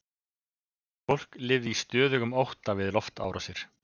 Fólk lifði í stöðugum ótta við loftárásir.